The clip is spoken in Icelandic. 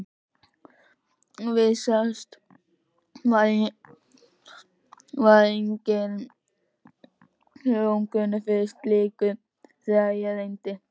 Vísast var enginn hljómgrunnur fyrir slíku, þegar á reyndi.